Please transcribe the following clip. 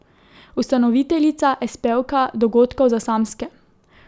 Ustanoviteljica, espejevka Dogodkov za samske.